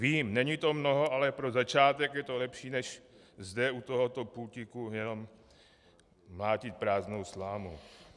Vím, není to mnoho, ale pro začátek je to lepší, než zde u tohoto pultíku jenom mlátit prázdnou slámu.